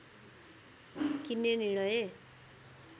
किन्ने निर्णय